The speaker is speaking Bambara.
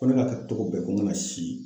Ko ne ka kɛ togo bɛɛ ko n kana si